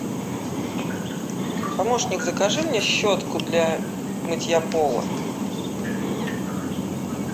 помощник закажи мне щетку для мытья пола